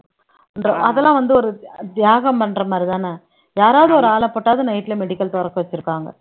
அதெல்லாம் வந்து ஒரு தியாகம் பண்ற மாதிரி தானே யாராவது ஒரு ஆள போட்டாவது night ல medical தொறக்க வச்சிருக்காங்க